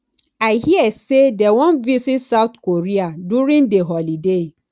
i hear say dey wan visit south korea during the holiday